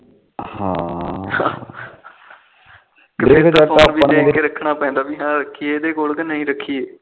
ਰ ਦੇਖ ਕੇ ਰੱਖਣਾ ਪੈਂਦਾ ਕੇ ਇਹਦੇ ਕੋਲ ਰੱਖੀਏ ਕ ਨਾ ਰੱਖੀਏ